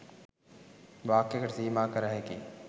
වාක්‍යයකට සීමා කරහැකි